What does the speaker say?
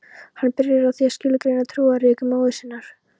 Hann byrjar á því að skilgreina trúariðkun móður sinnar